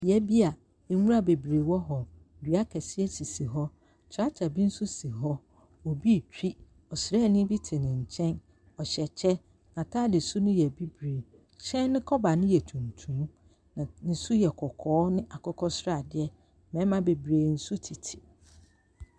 Beaeɛ bi a nwira bebree wɔ hɔ. Dua akɛdeɛ sisi hɔ. Tractor bi nso si hɔ. Obio retwi. Ɔsraani bi te ne nkyɛn. Ɔhyɛ kyɛ. N'atade su no yɛ bibire. Hyɛn no kɔba no yɛ tuntum, na ne su yɛ kɔkɔɔ ne akokɔsradeɛ mmarima bebree nso tete mu.